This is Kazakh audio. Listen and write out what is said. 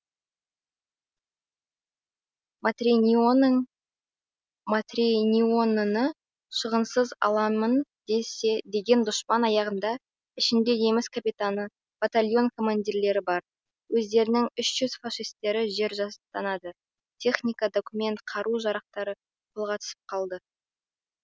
матренионың матренионыны шығынсыз аламын десе деген дұшпан аяғында ішінде неміс капитаны батальон командирлері бар өздерінің үш жүз фашистері жер жастанады техника документ қару жарақтары қолға түсіп қалды